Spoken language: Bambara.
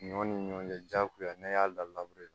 Ɲɔ ni ɲɔ cɛ jagoya n'an y'a da la